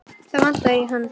Það vantaði í hann.